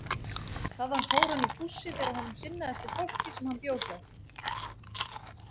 Þaðan fór hann í fússi þegar honum sinnaðist við fólkið sem hann bjó hjá.